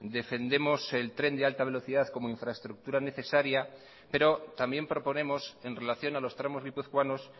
defendemos el tren de alta velocidad como infraestructura necesaria pero también proponemos en relación a los tramos guipuzcoanos